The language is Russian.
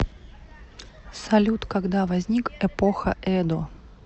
салют когда возник эпоха эдо